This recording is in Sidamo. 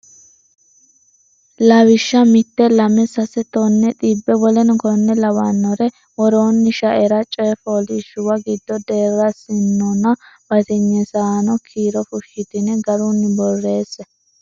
Lawishsha mite lame sase tonne xibbe w k l w k l Konni worooni shaera coy fooliishshuwa giddonni deerrisaanonna batinyisaano kiiro fushshitine garunni borreesse.